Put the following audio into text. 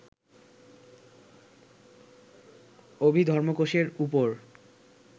অভিধর্মকোশের ওপর